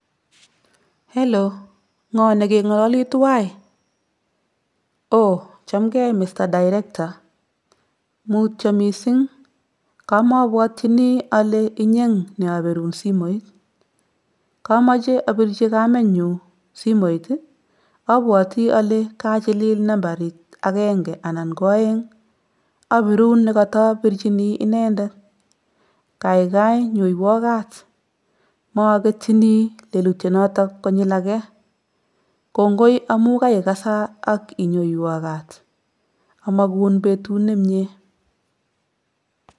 Hello ngo nekengololi tuwai, ooh chamgei Mr director, kamabwatini ale inye ne apiruun simoit, kamache apirchi kamenyu simoit, abwati ale kachilil nambarit agenge anan ko aeng apiruun nakatapirchin inendet. Kaikai nyoiwa kat maketiniee lelutiet noto konyil ake. Kongoi amun kaikasa ak kinyoiwa kaat. Ngamakun betut nemie.